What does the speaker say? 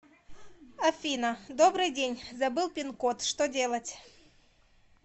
афина добрый день забыл пин код что делать